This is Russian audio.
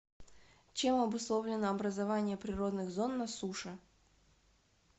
чем обусловлено образование природных зон на суше